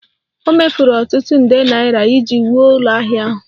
O mefuru ọtụtụ nde naira iji wuo ụlọala ahụ